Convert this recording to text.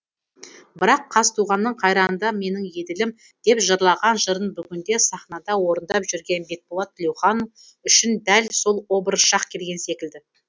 бірақ қазтуғанның қайранда менің еділім деп жырлаған жырын бүгінде сахнада орындап жүрген бекболат тілеухан үшін дәл сол образ шақ келген секілді